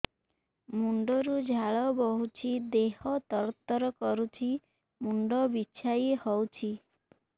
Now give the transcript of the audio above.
ମୁଣ୍ଡ ରୁ ଝାଳ ବହୁଛି ଦେହ ତର ତର କରୁଛି ମୁଣ୍ଡ ବିଞ୍ଛାଇ ହଉଛି